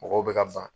Mɔgɔw bɛ ka ban